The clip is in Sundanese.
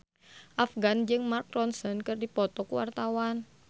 Afgan jeung Mark Ronson keur dipoto ku wartawan